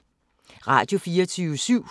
Radio24syv